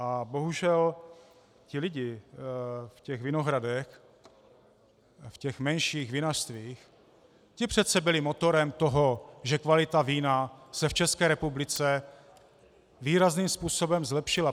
A bohužel ti lidé v těch vinohradech, v těch menších vinařstvích, ti přece byli motorem toho, že kvalita vína se v České republice výrazným způsobem zlepšila.